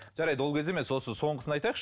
жарайды ол кезде емес осы соңғысын айтайықшы